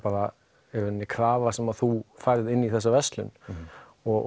krafa sem þú færð inn í þessa verslun og